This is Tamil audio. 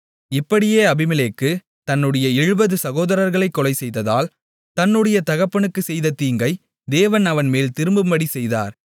இப்படியே அபிமெலேக்கு தன்னுடைய 70 சகோதரர்களைக் கொலை செய்ததால் தன்னுடைய தகப்பனுக்குச் செய்த தீங்கை தேவன் அவன்மேல் திரும்பும்படி செய்தார்